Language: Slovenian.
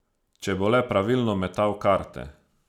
Če bo le pravilno metal karte.